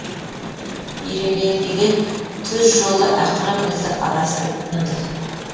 ирелеңдеген түз жолы ақыры бізді адастырып тынды